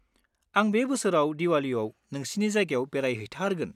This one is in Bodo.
आं बे बोसोराव दिवालीयाव नोंसिनि जायगायाव बेरायहैथारगोन।